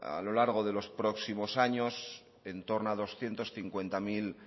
a lo largo de los próximos años en torno a doscientos cincuenta mil